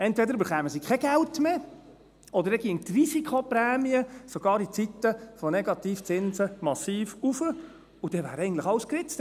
Entweder erhielten sie kein Geld mehr, oder dann ginge die Risikoprämie sogar in Zeiten der Negativzinsen massiv hinauf, und dann wäre alles geritzt.